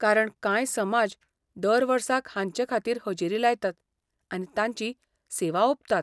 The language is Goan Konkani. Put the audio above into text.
कारण कांय समाज दर वर्साक हांचेखातीर हजेरी लायतात, आनी तांची सेवा ओंपतात.